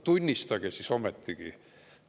Tunnistage siis ometigi!